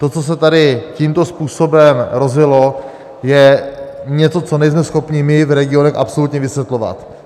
To, co se tady tímto způsobem rozjelo, je něco, co nejsme schopni my v regionech absolutně vysvětlovat.